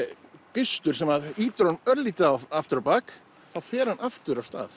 gustur sem ýtir honum aftur á bak þá fer hann aftur af stað